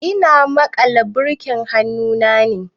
Ina maƙala birkin hannu ne.